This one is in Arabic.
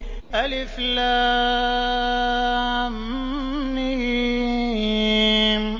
الم